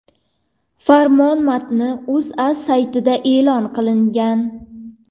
Farmon matni O‘zA saytida e’lon qilingan .